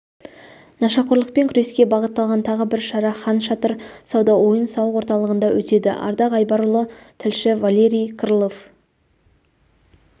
нашақорлықпен күреске бағытталған тағы бір шара хан шатыр сауда-ойын-сауық орталығында өтеді ардақ айбарұлы тілші валерий крылов